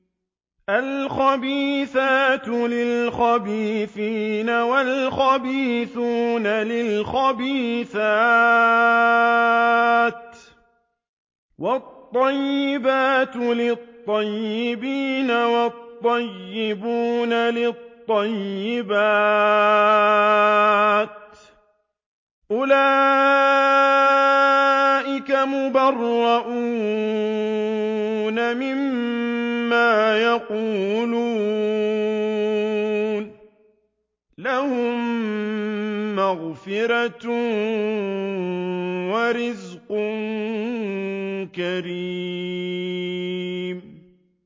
الْخَبِيثَاتُ لِلْخَبِيثِينَ وَالْخَبِيثُونَ لِلْخَبِيثَاتِ ۖ وَالطَّيِّبَاتُ لِلطَّيِّبِينَ وَالطَّيِّبُونَ لِلطَّيِّبَاتِ ۚ أُولَٰئِكَ مُبَرَّءُونَ مِمَّا يَقُولُونَ ۖ لَهُم مَّغْفِرَةٌ وَرِزْقٌ كَرِيمٌ